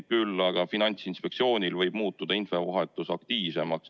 Küll aga Finantsinspektsioonil võib muutuda infovahetus aktiivsemaks.